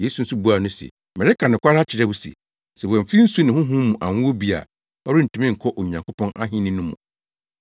Yesu nso buaa no se, “Mereka nokware akyerɛ wo se sɛ wɔamfi nsu ne Honhom mu anwo obi a, ɔrentumi nkɔ Onyankopɔn ahenni no mu.